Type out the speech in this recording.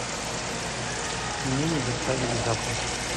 мне не доставили завтрак